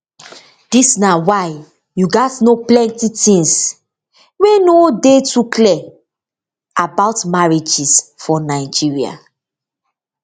dis na why you gatz know plenti tins wey no too dey clear about marriages for nigeria